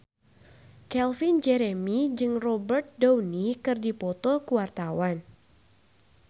Calvin Jeremy jeung Robert Downey keur dipoto ku wartawan